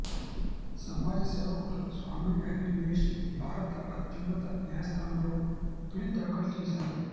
సమాజ సేవకుడు స్వామి అగ్నివేశ్ భారత అత్యున్నత న్యాయస్థానంలో పిల్ దాఖలు చేశారు